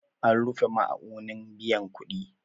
An rufe ma'aunin biyan kuɗi